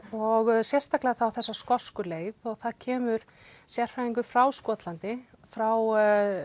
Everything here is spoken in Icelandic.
og sérstaklega þá þessa skosku leið og það kemur sérfræðingur frá Skotlandi frá